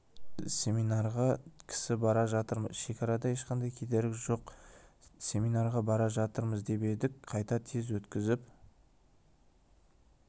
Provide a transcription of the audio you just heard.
семинарға кісі бара жатырмыз шекарада ешқандай кедергі жоқ семинарға бара жатырмыз деп едік қайта тез өткізіп